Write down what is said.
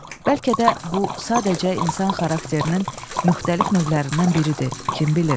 Bəlkə də bu sadəcə insan xarakterinin müxtəlif növlərindən biridir, kim bilir?